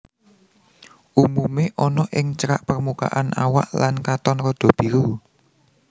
Umumé ana ing cerak permukaan awak lan katon rada biru